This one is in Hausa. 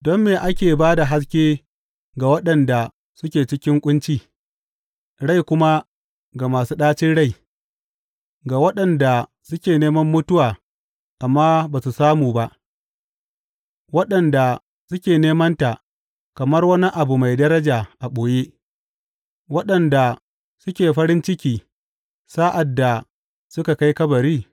Don me ake ba da haske ga waɗanda suke cikin ƙunci, rai kuma ga masu ɗacin rai ga waɗanda suke neman mutuwa amma ba su samu ba, waɗanda suke nemanta kamar wani abu mai daraja a ɓoye, waɗanda suke farin ciki sa’ad da suka kai kabari?